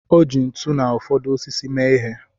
O ji ntu na ụfọdụ osisi mee ihe.